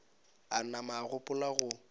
a nama a gopola go